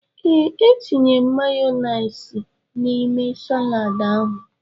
Ee, e tiri m mayọniisi n'ime saladi ahụ.